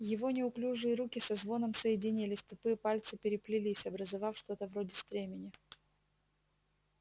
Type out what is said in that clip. его неуклюжие руки со звоном соединились тупые пальцы переплелись образовав что-то вроде стремени